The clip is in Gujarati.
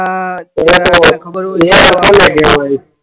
માં ખબર હોય